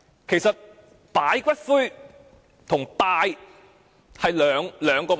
其實，擺放骨灰和拜祭是兩個問題。